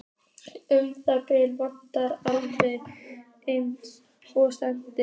Um árabil vann ég alveg eins og skepna.